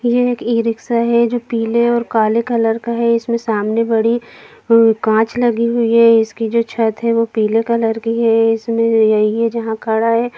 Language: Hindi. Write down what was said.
ये एक ई-रिक्शा है जो पीले और काले कलर का है इसमें सामने बड़ी काँच लगी हुई है इसकी जो छत है वो पीले कलर की हैं इसमें यहीं है जहाँ खड़ा है।